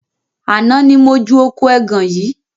Àná ni mo ju oko ẹgàn yìí